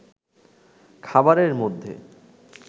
খাবারের মধ্যে